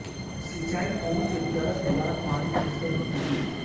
सिंचाई कुओं से चरस द्वारा पानी खींच कर होती थी